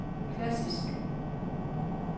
klassisk